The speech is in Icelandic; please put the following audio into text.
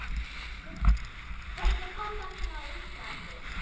Hvernig passar hún á Íslandi?